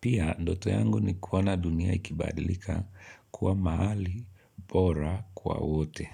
Pia, ndoto yangu nikuwa na dunia ikibadlika kuwa mahali bora kwa wote.